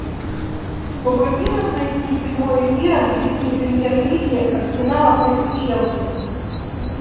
помоги нам найти прямой эфир английской премьер лиги арсенала против челси